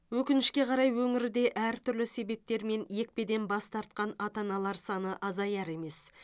өкінішке қарай өңірде әртүрлі себептермен екпеден бас тартқан ата аналар саны азаяр емес